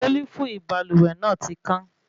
Selifu ibalúwẹ́ náà tí kàn